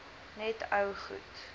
net ou goed